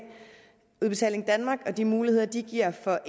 udbetaling danmark og de muligheder de giver for